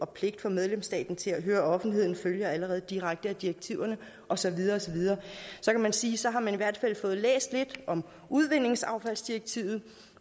pligten for medlemsstaten til at høre offentligheden allerede følger direkte af direktiverne og så videre og så videre og så kan man sige at så har man i hvert fald fået læst lidt om udvindingsaffaldsdirektivet